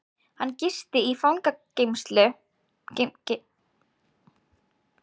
Hann gisti fangageymslur í nótt